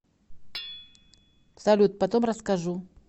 салют потом расскажу